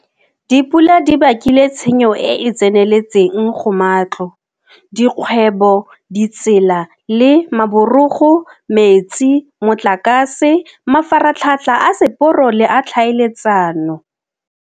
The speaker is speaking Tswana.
Dipula di bakile tshenyo e e tseneletseng go matlo, dikgwebo, ditsela le maborogo, metsi, motlakase, mafaratlhatlha a seporo le a tlhaeletsano.